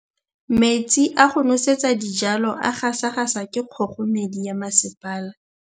Metsi a go nosetsa dijalo a gasa gasa ke kgogomedi ya masepala.